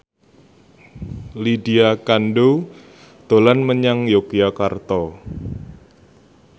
Lydia Kandou dolan menyang Yogyakarta